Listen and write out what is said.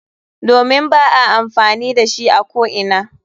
Domin ba a amfani da shi a ko'ina.